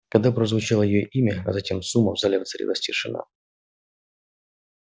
когда прозвучало её имя а затем сумма в зале воцарилась тишина